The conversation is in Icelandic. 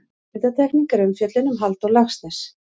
Undantekning er umfjöllun um Halldór Laxness.